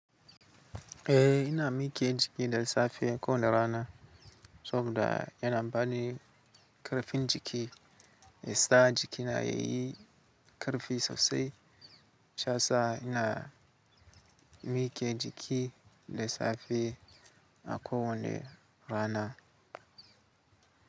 Eh ina mike jiki da safe ko da rana, saboda yana bani ƙarfin jiki. Yasa jiki na yayi ƙarfi sosai. Shiyasa ina mike jiki da safe a ko wani rana.